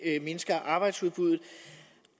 mindsker arbejdsudbuddet